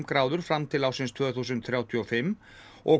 gráður fram til ársins tvö þúsund þrjátíu og fimm og